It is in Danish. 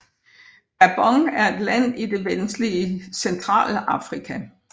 Gabon er et land i det vestlige Centralafrika